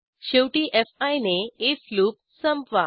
शेवटी फी ने आयएफ लूप संपवा